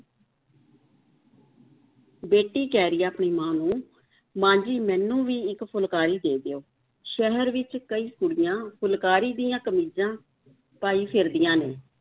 ਬੇਟੀ ਕਹਿ ਰਹੀ ਹੈ ਆਪਣੀ ਮਾਂ ਨੂੰ ਮਾਂ ਜੀ ਮੈਨੂੰ ਵੀ ਇੱਕ ਫੁਲਕਾਰੀ ਦੇ ਦਿਓ, ਸ਼ਹਿਰ ਵਿੱਚ ਕਈ ਕੁੜੀਆਂ ਫੁਲਕਾਰੀ ਦੀਆਂ ਕਮੀਜ਼ਾਂ ਪਾਈ ਫਿਰਦੀਆਂ ਨੇ,